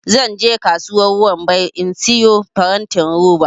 zan je kasuwar wambai in siyo farantin roba